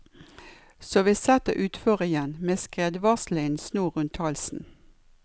Så vi setter utfor igjen, med skredvarslerne i en snor rundt halsen.